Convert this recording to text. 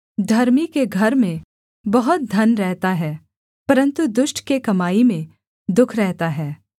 धर्मी के घर में बहुत धन रहता है परन्तु दुष्ट के कमाई में दुःख रहता है